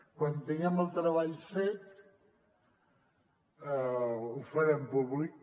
quan tinguem el treball fet ho farem públic